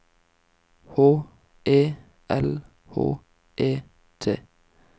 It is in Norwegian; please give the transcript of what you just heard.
H E L H E T